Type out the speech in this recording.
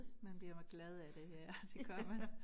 Man bliver glad af det ja det gør man